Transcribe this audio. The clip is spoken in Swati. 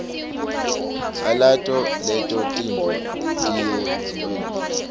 alato leto tintfo tiyimuelo